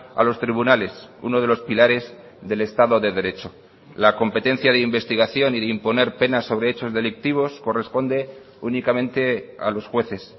a los tribunales uno de los pilares del estado de derecho la competencia de investigación y de imponer penas sobre hechos delictivos corresponde únicamente a los jueces